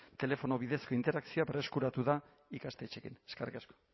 telefono bidezko interakzioa berreskuratu da ikastetxeekin eskerrik asko